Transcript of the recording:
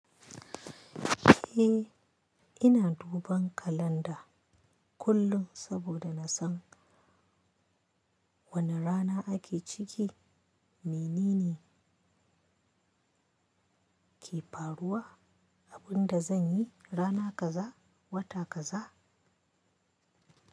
Eh, ina duban kalanda kullum saboda na san wane rana ake ciki, menene ke faruwa, abin da zan yi rana kaza, wata kaza.